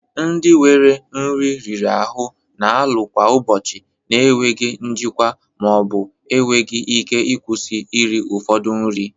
Ndị nwere nri riri ahụ na-alụ kwa ụbọchị na enweghị njikwa ma ọ bụ enweghị ike ịkwụsị iri ụfọdụ nri